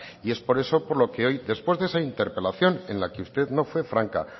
y es por eso por lo que hoy después de esa interpelación en la que usted no fue franca